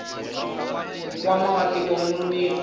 nkwama wa tiko wu nonile